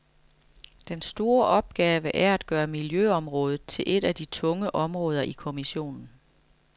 Den store opgave er at gøre miljøområdet til et af de tunge områder i kommissionen.